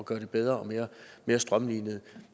gøre det bedre og mere strømlinet